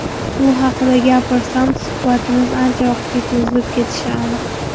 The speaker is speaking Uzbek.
Bu haqida gapirsam, suhbatimiz ancha vaqtga cho‘zilib ketishi aniq.